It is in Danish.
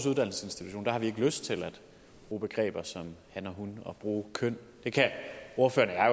uddannelsesinstitution har de ikke lyst til at bruge begreber som han og hun og bruge køn det kan ordføreren